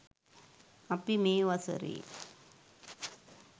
අපි මේ වසරේ